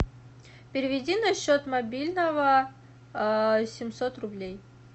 переведи на счет мобильного семьсот рублей